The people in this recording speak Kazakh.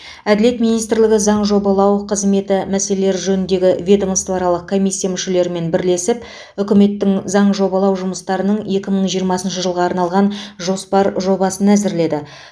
әділет министрлігі заң жобалау қызметі мәселелері жөніндегі ведомствоаралық комиссия мүшелерімен бірлесіп үкіметтің заң жобалау жұмыстарының екі мың жиырмасыншы жылға арналған жоспар жобасын әзірледі